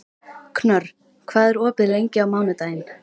Knörr, hvað er opið lengi á mánudaginn?